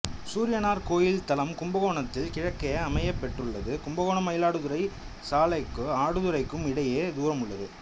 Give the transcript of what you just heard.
சூரியனார் கோயில் தலம் கும்பகோணத்திற்கு கிழக்கே அமையப் பெற்றுள்ளது கும்பகோணம் மயிலாடுதுறை சாலைக்கும் ஆடுதுறைக்கும் இடையே தூரம் உள்ளது